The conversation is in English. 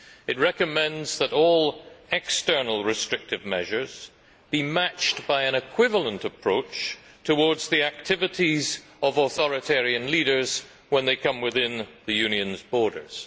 It recommends that all external restrictive measures be matched by an equivalent approach towards the activities of authoritarian leaders when they come within the Union's borders.